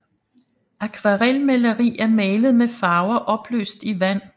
Akvarelmaleri er malet med farver opløst i vand